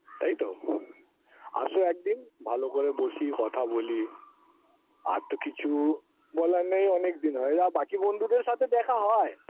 এইতো আসো একদিন ভালো করে বসি কথা বলি আর তো কিছু বলার নেই অনেক দিন হয় আ বাকি বন্ধুদের সাথে দেখা হয়